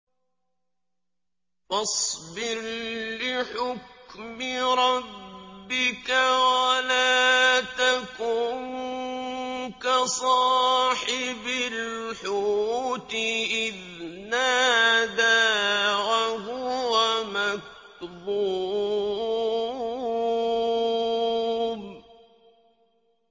فَاصْبِرْ لِحُكْمِ رَبِّكَ وَلَا تَكُن كَصَاحِبِ الْحُوتِ إِذْ نَادَىٰ وَهُوَ مَكْظُومٌ